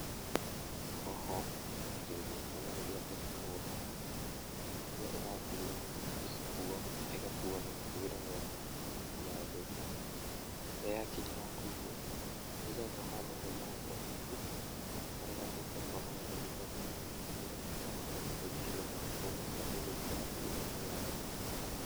Hoho ĩmenyagĩrĩrrwo kuuma rĩrĩ ĩrĩ mũgũnda, rĩrĩa ĩgatuo, ĩgĩkuo ĩgakuo na mũkuĩre mwega ndĩgathũke yakinya hakũigwo, igagwo handũ hena ũhehu harĩa ĩtekuonana na ũrugarĩ nĩgetha ĩhote kũingĩhia matukũ marĩa ĩgũikara ĩgĩgakinya thoko.